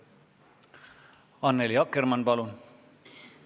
Annely Akkermann, palun!